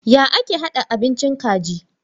Ya ake hada abincin kaji?